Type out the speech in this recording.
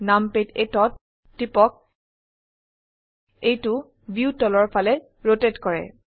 নামপাদ 8 ত টিপক এইটো ভিউ তলৰ ফালে ৰোটেট কৰে